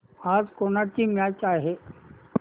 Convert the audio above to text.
आज कोणाची मॅच आहे